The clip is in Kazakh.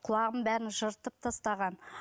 құлағымның бәрін жыртып тастаған